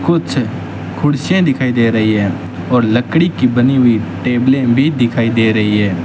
कुछ कुर्सियां दिखाई दे रही हैं और लकड़ी की बनी हुई टेबलें भी दिखाई दे रही हैं।